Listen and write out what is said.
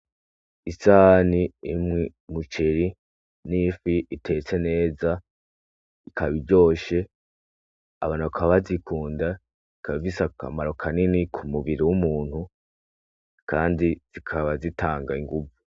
Isahani irimwo umuceri n'ifi itetse neza ikaba iryoshe abantu bakaba bazikunda ikaba ifise akamaro kanini ku mubiri w'umuntu kandi zikaba zitanga inguvu.